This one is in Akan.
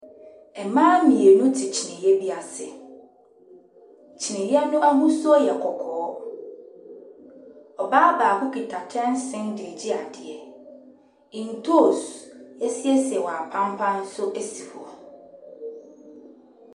Mmaa mmienu te kyiniiɛ bi ase. Kyiniiɛ no ahosuo yɛ kɔkɔɔ. Ɔbaa baako kita kyɛnse de regye adeɛ. Ntoosi a wɔasiesie wɔ apampa so si hɔ.